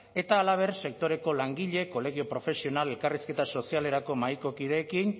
eta halaber sektoreko langile kolegio profesional elkarrizketa sozialerako mahaiko kideekin